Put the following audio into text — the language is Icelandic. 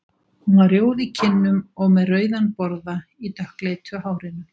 Hún var rjóð í kinnum og með rauðan borða í dökkleitu hárinu.